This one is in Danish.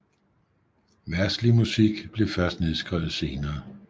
Verdslig musik blev først nedskrevet senere